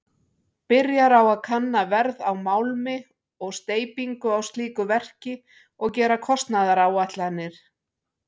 Byrjar á að kanna verð á málmi og steypingu á slíku verki og gera kostnaðaráætlanir.